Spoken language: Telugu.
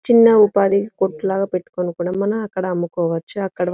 చిన్న ఉపాధి కోర్టు లాగా పెట్టుకొని కూడా మనం అక్కడ అమ్ముకోవచ్చు. అక్కడ --